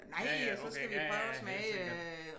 Nej og så skal vi prøve at smage øh